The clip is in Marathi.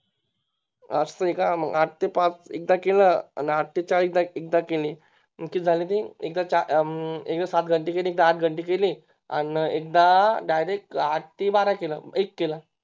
असं आहे का मग आठ ते पाच एकदा केली आठ ते चार एकदा केली मग ते किती झाले ते चार एकदा सातघंटे केली एकदा आठ घनते केली अन एकदा Direct आठ ते बारा केलं एक केलं